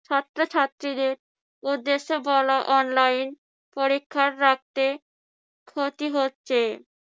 ছাত্রছাত্রীদের উদ্দেশ্যে বলা online পরীক্ষা রাখতে ক্ষতি হচ্ছে।